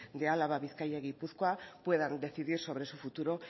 de álava bizkaia y gipuzkoa puedan decidir sobre su futuro